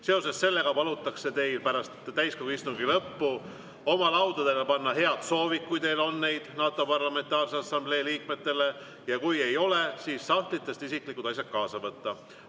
Seoses sellega palutakse teil pärast täiskogu istungi lõppu oma laudadele panna head soovid, kui teil neid on NATO Parlamentaarse Assamblee liikmetele, ja kui ei ole, siis sahtlitest isiklikud asjad kaasa võtta.